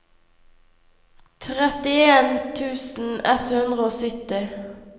trettien tusen ett hundre og sytti